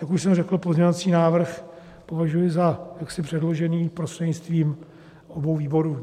Jak už jsem řekl, pozměňovací návrh považuji za předložený prostřednictvím obou výborů.